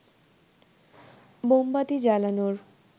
মোমবাতি জ্বালানোর